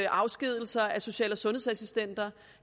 afskedigelser af social og sundhedsassistenter